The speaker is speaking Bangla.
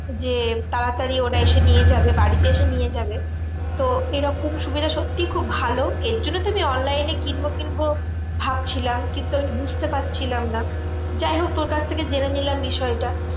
যে তাড়াতাড়ি ওরা এসে নিয়ে যাবে বাড়িতে এসে নিয়ে যাবে। তো এরকম সুবিধা সত্যি খুব ভালো। এর জন্য তো আমি online এ কিনবো কিনবো ভাবছিলাম। কিন্তু আমি বুঝতে পারছিলাম না। যাইহোক তোর কাছ থেকে জেনে নিলাম বিষয়টা।